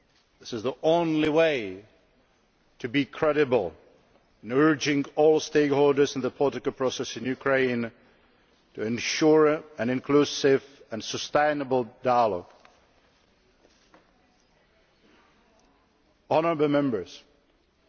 This is the only way to be credible, in urging all stakeholders in the political process in Ukraine to ensure an inclusive and sustainable dialogue.